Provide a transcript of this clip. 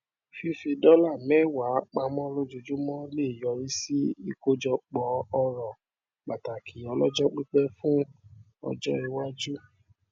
fífi dọlà mẹwàá pamọ lójoojúmọ leè yọrí sí ikojọpọ ọrọ pataki ọlọjọpípẹ fún ọjọ iwájú